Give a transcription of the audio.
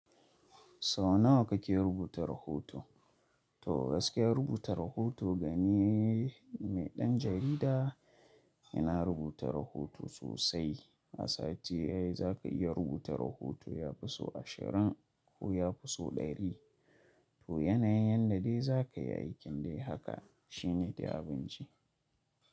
Sau nawa kake rubuta rahoto? To gaskiya rubuta rahoto ga ni wai ɗan jarida inavrubuta rahoto sosai. A sati ɗaya za ka iya rubuta rahoto ya fi so ashirin ko ya fi so ɗari. To yanayin yadda dai za ka yi aikin dai haka shi ne dai abinci.